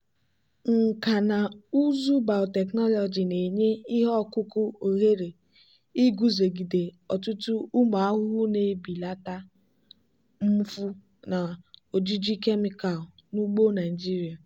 nkà na ụzụ biotechnology na-enye ihe ọkụkụ ohere iguzogide ọtụtụ ụmụ ahụhụ na-ebelata mfu na ojiji kemịkal n'ugbo naijiria.